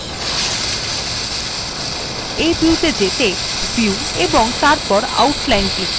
you view ত়ে যেতে আপনি view এবং তারপর outline ক্লিক করুন